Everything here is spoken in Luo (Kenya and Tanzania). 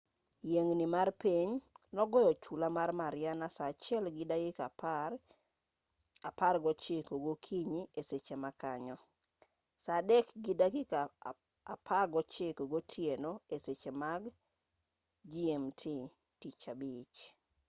yiengni mar piny nogoyo chula mar mariana saa achiel gi dakika apar gaochiko gokinyi eseche makanyo saa adek gi dakika apagaochiko gotieno eseche mag gmt tich abich